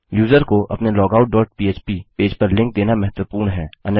user को अपने logout dot पह्प पेज पर लिंक देना महत्वपूर्ण है